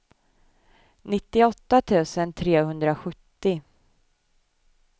nittioåtta tusen trehundrasjuttio